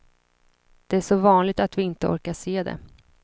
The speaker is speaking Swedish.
Det är så vanligt att vi inte orkar se det.